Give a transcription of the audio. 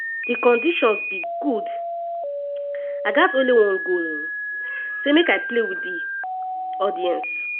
“di conditions be good i gat only one goal um say make i play wit wit di audience.